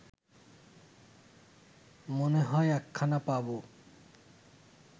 মনে হয় একখানা পাব